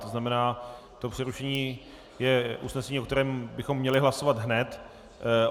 To znamená, že přerušení je usnesení, o kterém bychom měli hlasovat hned.